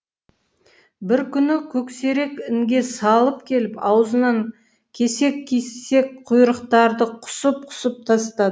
бір күні көксерек інге салып келіп аузынан кесек кесек құйрықтарды құсып құсып тастады